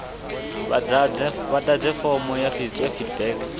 vha ḓadze fomo ya feedback